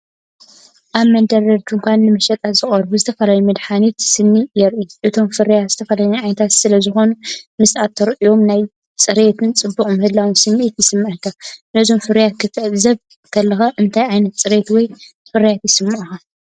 ኣብ መደርደሪ ድኳን ንመሸጣ ዝቐረቡ ዝተፈላለዩ መድሃኒት ስኒ የርኢ። እቶም ፍርያት ዝተፈላለየ ዓይነት ስለዝኾኑ፡ ምስ እትርእዮም ናይ ጽሬትን ጽቡቕ ምህላውን ስምዒት ይስምዓካ። ነዞም ፍርያት ክትዕዘብ ከለኻ እንታይ ዓይነት ጽሬት ወይ ፍሩይነት ይስምዓካ?